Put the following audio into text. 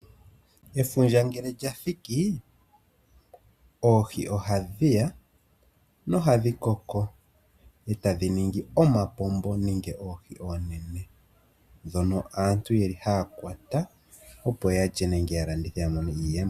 Efundja ngele lyathiki oohi oha dhiya nohadhi koko dho tadhi ningi omapombo nenge oohi oonene ndhono aantu yeli haya kwata opo yalye nenge ya landithe ya mone iiyemo.